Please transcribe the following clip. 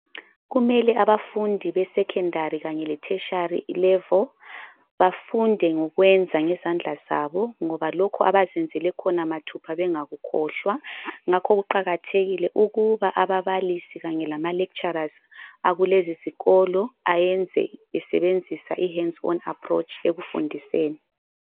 Kumele abafundi be secondary kanye le tertiary level bafunde ngokwenza ngezandla zabo, ngoba lokho abazenzele khona mathupha bengakukhohlwa. Ngakho kuqakathekile ukuba ababalisi kanye lama lecturers akulezi izikolo ayenze besebenzisa ihands on approach ekufundiseni.